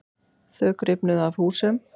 Þök rifnuðu af húsum.